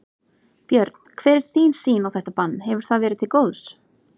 Björn: Hver er þín sýn á þetta bann, hefur það verið til góðs?